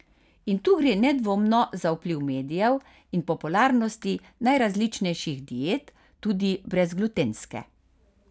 In tu gre nedvomno za vpliv medijev in popularnosti najrazličnejših diet, tudi brezglutenske.